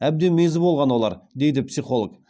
әбден мезі болған олар дейді психолог